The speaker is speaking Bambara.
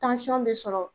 bɛ sɔrɔ